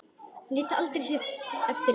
Lét aldrei sitt eftir liggja.